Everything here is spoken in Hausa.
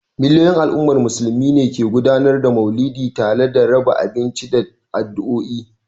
Miliyoyin al’ummar Musulmi a fadin duniya ne ke gudanar da Mauludi tare da raba abinci da addu'o'i.